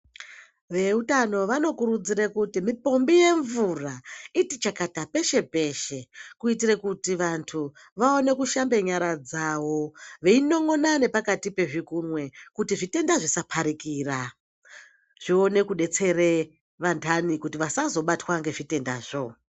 Veutano vanokurudzirale kuti mipombi yemvura iti chakata peshe peshe kuitire kuti vantu vaone kushamba nyara dzawo veinon'ona nepakati pezvikunwe kuti zvitenda zvisaparikira zvione kudetsere vantani kuti vasazobatwa ngezvitendazvo.